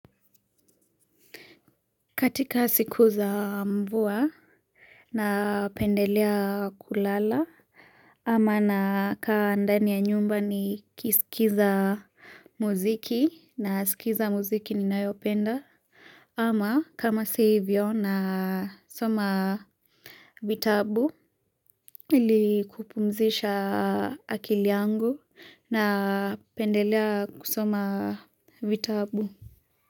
Katika siku za mvua napendelea kulala ama nakaa ndani ya nyumba nikiskiza muziki, naskiza muziki ninayopenda ama kama si ivyo nasoma vitabu ili kupumzisha akili yangu napendelea kusoma vitabu.